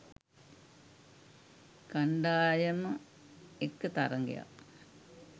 කණ්ඩායම එක්ක තරඟයක්